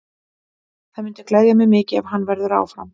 Það myndi gleðja mig mikið ef hann verður áfram.